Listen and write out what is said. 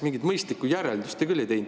Mingit mõistlikku järeldust te küll ei teinud.